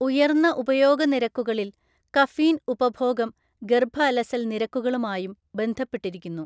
ഉയർന്ന ഉപയോഗ നിരക്കുകളിൽ കഫീൻ ഉപഭോഗം ഗർഭ അലസൽ നിരക്കുകളുമായും ബന്ധപ്പെട്ടിരിക്കുന്നു.